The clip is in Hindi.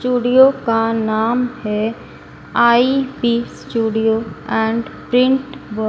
स्टूडियो का नाम हैं IP studio and print were--